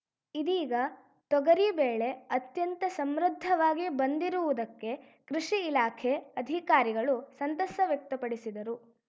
ಇದೀಗ ತೊಗರಿ ಬೆಳೆ ಅತ್ಯಂತ ಸಮೃದ್ಧವಾಗಿ ಬಂದಿರುವುದಕ್ಕೆ ಕೃಷಿ ಇಲಾಖೆ ಅಧಿಕಾರಿಗಳು ಸಂತಸ ವ್ಯಕ್ತಪಡಿಸಿದರು